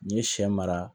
N'i ye sɛ mara